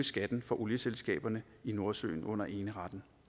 skatten for olieselskaberne i nordsøen under eneretten